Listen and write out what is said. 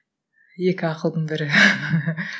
екі ақылдың бірі